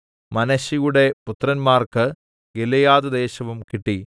മനശ്ശെയുടെ പുത്രന്മാർക്ക് ഗിലെയാദ്‌ദേശവും കിട്ടി